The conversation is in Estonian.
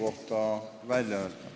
Aitäh!